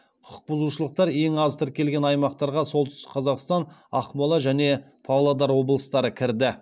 құқықбұзушылықтар ең аз тіркелген аймақтарға солтүстік қазақстан ақмола және павлодар облыстары кірді